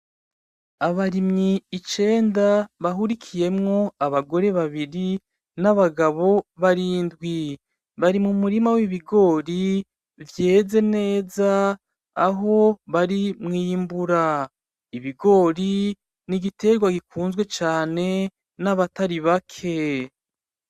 Abarimyi icenda bahurikiyemwo abagore babiri n'abagabo barindwi bari mu murima w'ibigori vyeze neza aho bari mwiyimbura Ibigori n'igiterwa gikunzwe cane n'abatari bake .